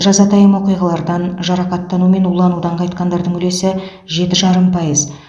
жазатайым оқиғалардан жарақаттану мен уланудан қайтқандардың үлесі жеті жарым пайыз